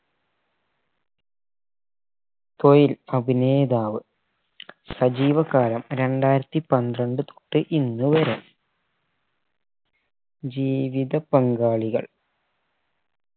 അഭിനേതാവ് സജീവകരം രണ്ടായിരത്തി പന്ത്രണ്ട് തൊട്ട് ഇന്ന് വരെ ജീവിത പങ്കാളികൾ